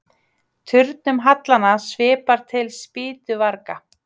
Turnum hallanna svipar til spýtuvarga.